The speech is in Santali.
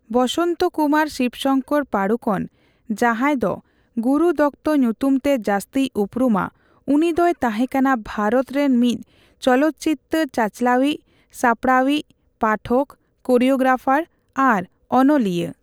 ᱵᱚᱥᱚᱱᱛᱚ ᱠᱩᱢᱟᱨ ᱥᱤᱵᱽᱥᱚᱝᱠᱚᱨ ᱯᱟᱲᱩᱠᱳᱱ, ᱡᱟᱦᱟᱸᱭ ᱫᱚ ᱜᱩᱨᱩ ᱫᱚᱛᱛᱚ ᱧᱩᱛᱩᱢ ᱛᱮ ᱡᱟᱹᱥᱛᱤᱭ ᱩᱯᱨᱩᱢᱟ, ᱩᱱᱤᱫᱚᱭ ᱛᱟᱦᱮᱸ ᱠᱟᱱᱟ ᱵᱷᱟᱨᱚᱛ ᱨᱮᱱ ᱢᱤᱫ ᱪᱚᱞᱚᱛᱪᱤᱛᱟᱹᱨ ᱪᱟᱪᱞᱟᱣᱤᱡ, ᱥᱟᱯᱲᱟᱣᱤᱡ, ᱯᱟᱴᱷᱚᱠ, ᱠᱳᱨᱤᱭᱳᱜᱨᱟᱯᱷᱟᱨ ᱟᱨ ᱚᱱᱚᱞᱤᱭᱟᱹ ᱾